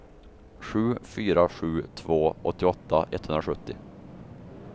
sju fyra sju två åttioåtta etthundrasjuttio